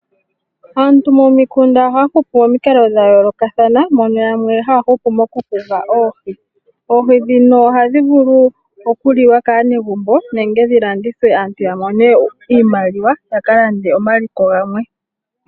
Aantu momikunda ohaya hupu momikalo dha yoolokathana mono yamwe haya hupu mokuhuga oohi. oohi ndhino ohadhi vulu okuliwa kaanegumno nenge dhi landithwe aantu ya mone iimaliwa, ya ka lande omaliko gamwe.